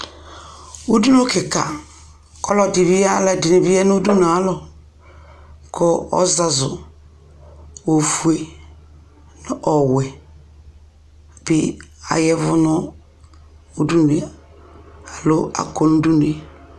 ʋdʋnʋkikaa, alʋɛdini bi yanʋ ʋdʋnʋɛ alɔ kʋ ɔzazʋ ɔƒʋɛ nʋ ɔwɛ di ayavʋ nʋ ʋdʋnʋɛ alɔ akɔ nʋ ʋdʋnʋɛ